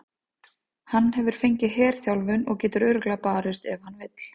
Hann hefur fengið herþjálfun og getur örugglega barist ef hann vill.